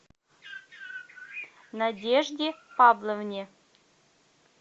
надежде павловне